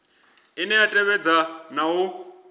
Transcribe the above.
ine ya tevhedza na u